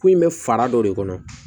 K'u in bɛ fara dɔ de kɔnɔ